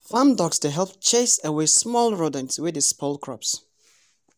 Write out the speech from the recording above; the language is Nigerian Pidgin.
farm dogs dey help chase away small rodents wey dey spoil crops.